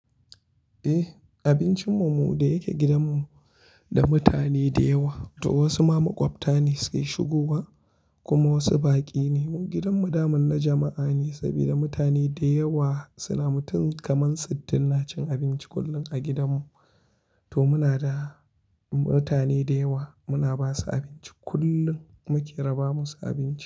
Eh, abincin mu mu da yake gidan mu da mutane da yawa to wasu ma maƙwabta ne suke shigowa kuma wasu baƙi ne. Gidan mu daman na jama'a ne saboda mutane da yawa suna mutum kamar sittin na cin abinci kullum a gidan mu. To muna da mutane da yawa muna basu abinci kullum muke raba musu abinci.